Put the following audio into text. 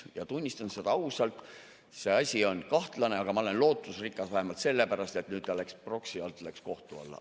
Ja tunnistan ausalt, see asi on kahtlane, aga ma olen lootusrikas vähemalt sellepärast, et nüüd ta läks proksi alt kohtu alla.